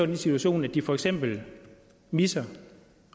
den situation at de for eksempel misser